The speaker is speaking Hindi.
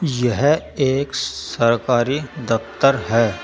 यह एक सरकारी दफ्तर हैं।